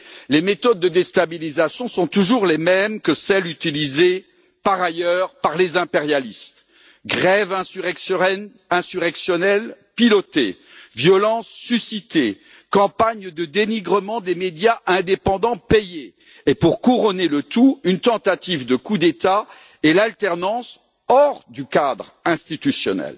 Les méthodes de déstabilisation sont toujours les mêmes que celles utilisées, par ailleurs, par les impérialistes grèves insurrectionnelles pilotées, violences suscitées, campagnes de dénigrement des médias indépendants payées et, pour couronner le tout, une tentative de coup d'État et l'alternance hors du cadre institutionnel.